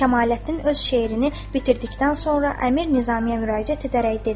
Kəmaləddin öz şeirini bitirdikdən sonra əmir Nizamiya müraciət edərək dedi: